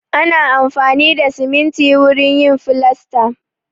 Ana amfani da siminti wurin yin filasta.